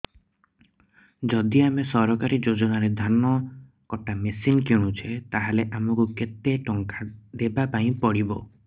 ଯଦି ଆମେ ସରକାରୀ ଯୋଜନାରେ ଧାନ କଟା ମେସିନ୍ କିଣୁଛେ ତାହାଲେ ଆମକୁ କେତେ ଟଙ୍କା ଦବାପାଇଁ ପଡିବ